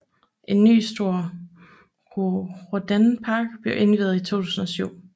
En ny stor rhododendronpark blev indviet i 2007